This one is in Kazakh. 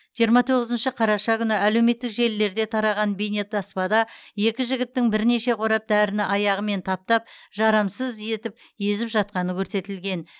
жиырма тоғызыншы қараша күні әлеуметтік желілерде тараған бейнетаспада екі жігіттің бірнеше қорап дәріні аяғымен таптап жарамсыз етіп езіп жатқаны көрсетілген